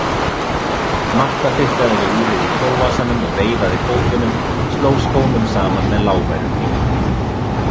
Marta fitlaði við úrið í kjólvasanum og veifaði fótunum, sló skónum saman með lágværum dynkjum.